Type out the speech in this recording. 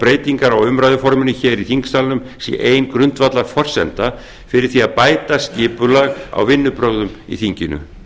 breytingar á umræðuforminu hér í þingsalnum sé ein grundvallarforsenda fyrir því að bæta skipulag á vinnubrögðum í þinginu